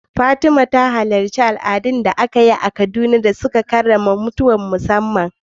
Fatima ta halarci wani taron al’adu da aka gudanar a Kaduna wanda ya karrama wasu bukukuwan mutuwa na musamman.